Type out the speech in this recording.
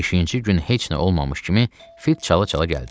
Beşinci gün heç nə olmamış kimi fıt çala-çala gəldi.